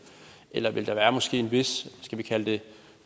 eller vil der måske være en vis skal vi kalde det